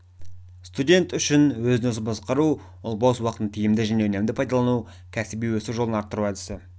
студент үшін өзін-өзі басқару ол бос уақытын тиімді және үнемді пайдалану кәсіби өсу жолын арттыру әдісі